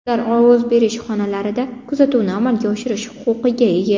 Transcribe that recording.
Ular ovoz berish xonalarida kuzatuvni amalga oshirish huquqiga ega.